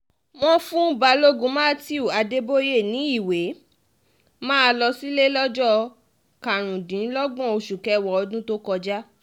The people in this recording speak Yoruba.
wọ́n fún balógun matthew adeboye ní ìwé máa lọ sílẹ̀ lọ́jọ́ karùndínlọ́gbọ̀n oṣù kẹwàá ọdún tó kọjá